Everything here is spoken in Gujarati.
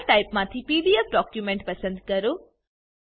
ફાઈલ ટાઈપ માંથી પીડીએફ ડોક્યુમેન્ટ પસંદ કરો